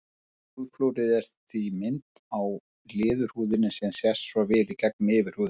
Húðflúrið er því mynd á leðurhúðinni sem sést svo í gegnum yfirhúðina.